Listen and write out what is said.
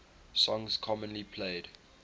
songs commonly played